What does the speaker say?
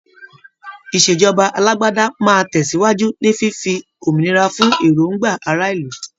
Ìṣèjọba alágbádá máa tẹ̀síwájú ní fífi òmìnira fún èròngbà ará ìlú.